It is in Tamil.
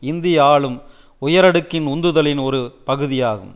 இந்திய ஆளும் உயரடுக்கின் உந்துதலின் ஒரு பகுதியாகும்